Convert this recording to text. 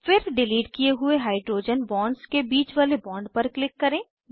फिर डिलीट किये हुए हाइड्रोजन बॉन्ड्स के बीच वाले बॉन्ड पर क्लिक करें